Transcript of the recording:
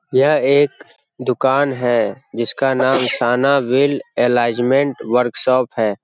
यह एक दुकान है जिसका नाम सना व्हील एलाइनमेंट वर्कशॉप है।